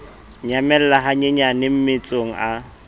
nyamella ha nyenyane mmetsong a